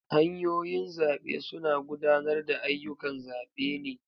Hanyoyin zabe suna gudanar da ayyukan zabe ne.